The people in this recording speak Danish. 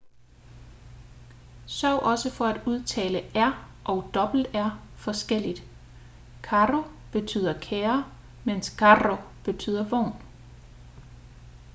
sørg også for at udtale r og rr forskelligt caro betyder kære mens carro betyder vogn